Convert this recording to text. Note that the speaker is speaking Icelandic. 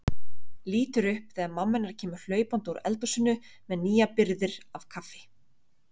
Lítur upp þegar mamma hennar kemur hlaupandi úr eldhúsinu með nýjar birgðir af kaffi.